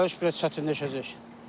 Gediş-gəliş biraz çətinləşəcək.